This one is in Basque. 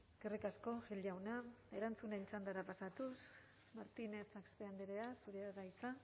eskerrik asko gil jauna erantzunen txandara pasatuz martinez axpe andrea zurea da hitza